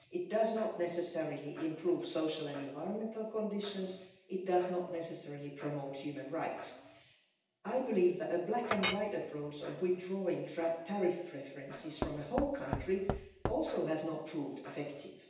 It does not necessarily improve social and environmental conditions, it does not necessarily promote human rights. I believe that a black and white approach of withdrawing tariff preferences from a whole country also has not proved effective.